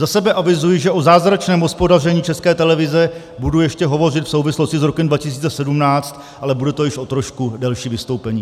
Za sebe avizuji, že o zázračném hospodaření České televize budu ještě hovořit v souvislosti s rokem 2017, ale bude to již o trošku delší vystoupení.